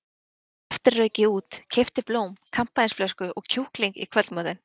Á eftir rauk ég út, keypti blóm, kampavínsflösku og kjúkling í kvöldmatinn.